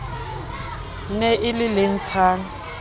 ne e le le ntshang